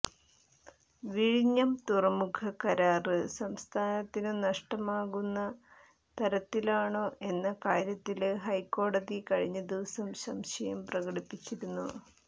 വിഴിഞ്ഞം തുറമുഖ കരാര് സംസ്ഥാനത്തിനു നഷ്ടമുണ്ടാക്കുന്ന തരത്തിലാണോ എന്ന കാര്യത്തില് ഹൈക്കോടതി കഴിഞ്ഞ ദിവസം സംശയം പ്രകടിപ്പിച്ചിരുന്നു